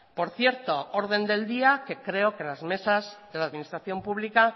por cierto orden del día que creo que las mesas de la administración pública